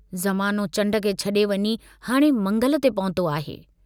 जमानो चण्ड खे छड़े वञी हाणे मंगल ते पहुतो आहे।